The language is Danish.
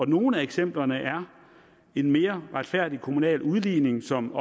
nogle af eksemplerne er en mere retfærdig kommunal udligning som